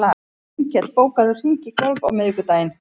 Grímkell, bókaðu hring í golf á miðvikudaginn.